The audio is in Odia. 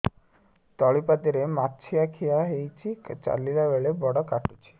ତଳିପାଦରେ ମାଛିଆ ଖିଆ ହେଇଚି ଚାଲିଲେ ବଡ଼ କାଟୁଚି